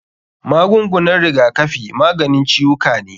Magungunan rigakafi maganin ciwuka ne.